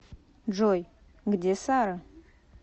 джой где сара